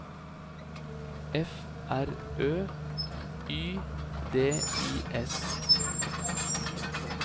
F R Ø Y D I S